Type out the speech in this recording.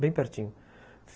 Bem pertinho.